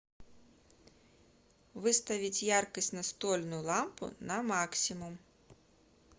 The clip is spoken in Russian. выставить яркость настольную лампу на максимум